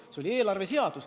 See oli eelarveseaduses kirjas.